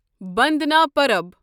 بندنا پرب